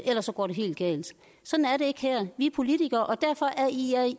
ellers går det helt galt sådan er det ikke her vi er politikere og derfor er i